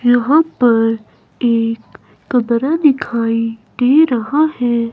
यहां पर एक कमरा दिखाई दे रहा है।